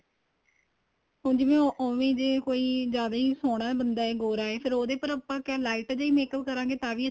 ਹੁਣ ਜਿਵੇਂ ਉਵੇਂ ਜੇ ਕੋਈ ਜਿਆਦਾ ਹੋ ਸੋਹਣਾ ਬੰਦਾ ਏ ਗੋਰਾਂ ਏ ਫ਼ੇਰ ਉਹਦੇ ਉੱਪਰ ਆਪਾਂ ਕਿਹਾ light ਜਾਂ makeup ਕਰਾਗੇ ਤਾਂ ਵੀ